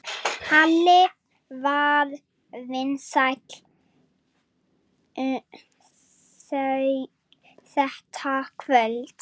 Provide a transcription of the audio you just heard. Halli var vinsæll þetta kvöld.